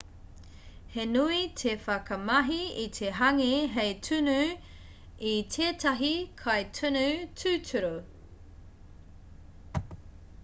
he nui te whakamahi i te hāngī hei tunu i tētahi kai tunu tūturu